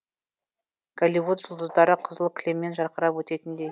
голивуд жұлдыздары қызыл кілемнен жарқырап өтетіндей